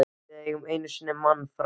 Við fengum einu sinni mann frá